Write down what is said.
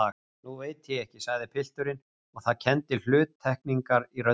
Nú veit ég ekki, sagði pilturinn og það kenndi hluttekningar í röddinni.